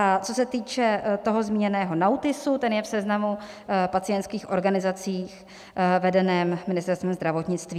A co se týče toho zmíněného NAUTISu, ten je v seznamu pacientských organizací vedeném Ministerstvem zdravotnictví.